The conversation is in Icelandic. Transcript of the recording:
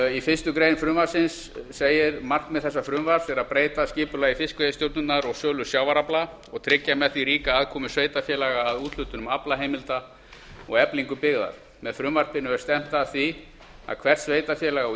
í fyrstu grein frumvarpsins segir markmið þessa frumvarps er að breyta skipulagi fiskveiðistjórnar og sölu sjávarafla og tryggja með því ríka aðkomu sveitarfélaga að úthlutunum aflaheimilda og eflingu byggðar með frumvarpinu er stefnt að því að hvert sveitarfélag á